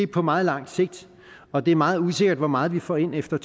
på meget lang sigt og det er meget usikkert hvor meget vi får ind efter